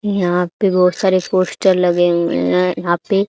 यहां पे बहुत सारे पोस्टर लगे हुए हैं यहां पे--